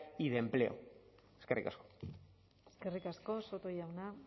y de empleo eskerrik asko eskerrik asko soto jauna